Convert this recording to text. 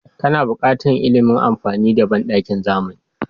Kana buƙatar ilimin amfani da banɗakin zamani.